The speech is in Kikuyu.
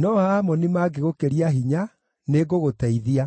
no Aamoni mangĩgũkĩria hinya, nĩngagũteithia.